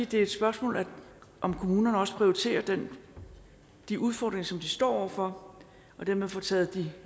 det er et spørgsmål om kommunerne også prioriterer de udfordringer som de står over for og dermed får taget de